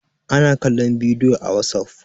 ana kallon bidiyo a wasof